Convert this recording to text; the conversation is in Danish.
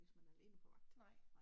Hvis man er alene på vagt